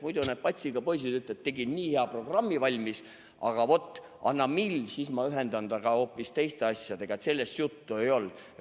Muidu need patsiga poisid ütlevad, et tegin nii hea programmi valmis, aga vot, anna mill, siis ma ühendan ta hoopis teiste asjadega, sellest enne juttu ei olnud.